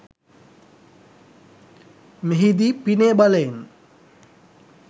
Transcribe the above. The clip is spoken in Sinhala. මෙහි දී පිනේ බලයෙන්